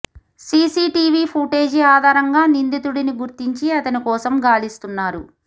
CCTV footage ఆధారంగా నిందితుడిని గుర్తించి అతని కోసం గాలిస్తున్నారు